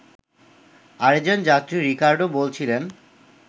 আরেকজন যাত্রী রিকার্ডো বলছিলেন